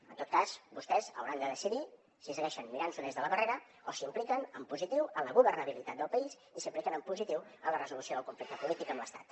en tot cas vostès hauran de decidir si segueixen mirant s’ho des de la barrera o s’impliquen en positiu en la governabilitat del país i s’impliquen en positiu en la resolució del conflicte polític amb l’estat